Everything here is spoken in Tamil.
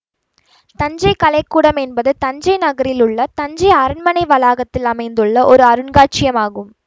தஞ்சை கலைக்கூடம் எனபது தஞ்சை நகரில் உள்ள தஞ்சை அரண்மனை வளாகத்தில் அமைந்துள்ள ஒரு அருங்காட்சியம் ஆகும்